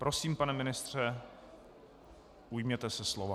Prosím, pane ministře, ujměte se slova.